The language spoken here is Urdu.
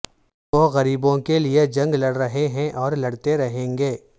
وہ غریبوں کے لئے جنگ لڑ رہے ہیں اور لڑتے رہیں گے